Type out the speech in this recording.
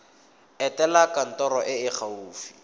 etela kantoro e e gaufi